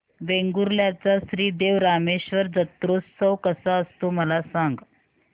वेंगुर्ल्या चा श्री देव रामेश्वर जत्रौत्सव कसा असतो मला सांग